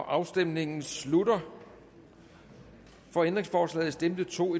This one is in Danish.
afstemningen slutter for ændringsforslaget stemte to